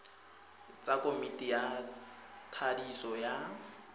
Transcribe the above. tsa komiti ya thadiso ya